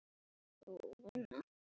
Við skulum bara vona að